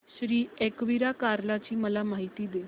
श्री एकविरा कार्ला ची मला माहिती दे